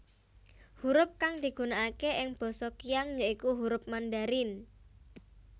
Hurup kang digunakake ing basa Qiang ya iku hurup Mandarin